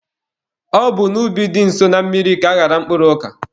Ọ bụ n'ubi dị nso na mmiri ka aghara mkpụrụ ọka.